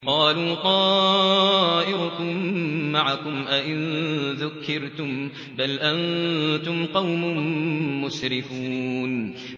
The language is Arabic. قَالُوا طَائِرُكُم مَّعَكُمْ ۚ أَئِن ذُكِّرْتُم ۚ بَلْ أَنتُمْ قَوْمٌ مُّسْرِفُونَ